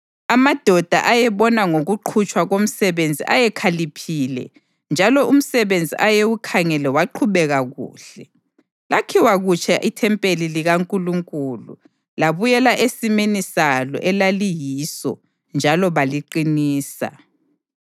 Amadoda ayebona ngokuqhutshwa komsebenzi ayekhaliphile, njalo umsebenzi ayewukhangele waqhubeka kuhle. Lakhiwa kutsha ithempeli likaNkulunkulu labuyela esimeni salo elaliyiso njalo baliqinisa.